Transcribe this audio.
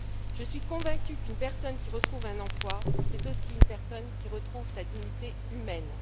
Je suis convaincue qu'une personne qui retrouve un emploi, c'est aussi une personne qui retrouve sa dignité humaine.